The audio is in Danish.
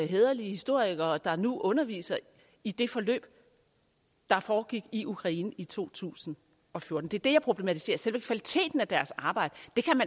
hæderlige historikere der nu underviser i det forløb der foregik i ukraine i to tusind og fjorten det er det jeg problematiserer selve kvaliteten af deres arbejde